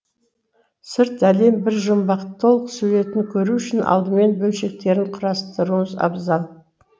сырт әлем бір жұмбақ толық суретін көру үшін алдымен бөлшектерін құрастыруыңыз абзал